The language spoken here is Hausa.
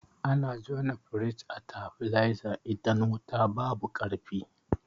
Ana jona firij a tabileza idan wuta babu ƙarfi.